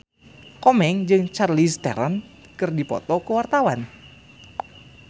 Komeng jeung Charlize Theron keur dipoto ku wartawan